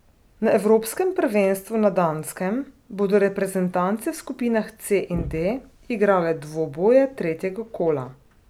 Na evropskem prvenstvu na Danskem bodo reprezentance v skupinah C in D igrale dvoboje tretjega kola.